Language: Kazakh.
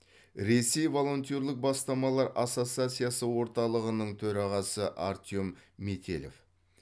ресей волонтерлік бастамалар ассоциациясы орталығының төрағасы артем метелев